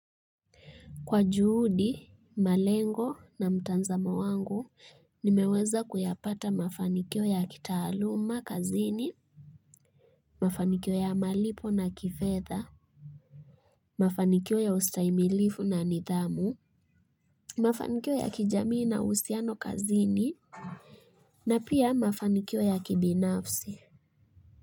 Kwa juhudi, malengo na mtazamo wangu, nimeweza kuyapata mafanikio ya kitaaluma, kazini, mafanikio ya malipo na kifetha, mafanikio ya ustahimilifu na nithamu, mafanikio ya kijamii na uhusiano kazini, na pia mafanikio ya kibinafsi.